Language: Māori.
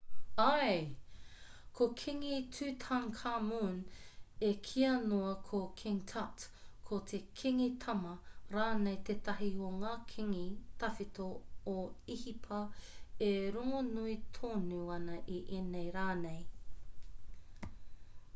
āe ko kingi tutankhamun e kīa nei ko king tut ko te kingi tama rānei tētahi o ngā kingi tawhito o īhipa e rongonui tonu ana i ēnei rā nei